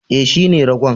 E, shine ragon.